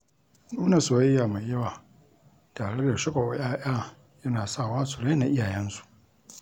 Nuna soyayya mai yawa tare da shagwaɓa 'ya'ya yana sawa su raina iyayensu.